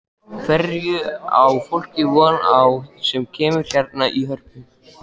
Hverju á fólk von á sem kemur hérna í Hörpu?